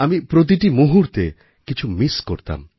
আমি প্রতিটি মুহূর্তে কিছু মিস করতাম